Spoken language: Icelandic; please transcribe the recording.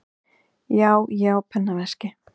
Já, ég á pennaveski.